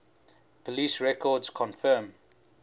police records confirm